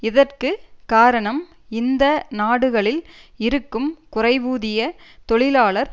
இதற்கு காரணம் இந்த நாடுகளில் இருக்கும் குறைவூதிய தொழிலாளர்